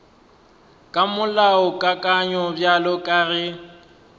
ka molaokakanywa bjalo ka ge